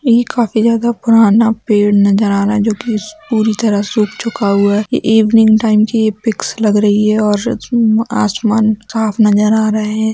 ये काफी ज्यादा पुराना पेड़ नजर आ रहा है जो की पूरी तरह सुख चुका हुआ है ये इवनिंग टाइम की ये पिक्स लग रही है और आसमान साफ नजर आ रहा है ।